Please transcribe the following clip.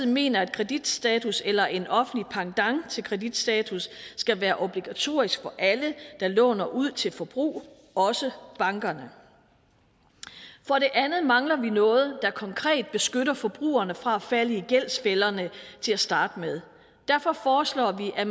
mener at kreditstatus eller en offentlig pendant til kreditstatus skal være obligatorisk for alle der låner ud til forbrug også bankerne for det andet mangler vi noget der konkret beskytter forbrugerne fra at falde i gældsfælderne til at starte med derfor foreslår vi at